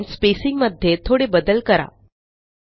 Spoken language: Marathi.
आता आपण स्पेसिंग मध्ये थोडे बदल करा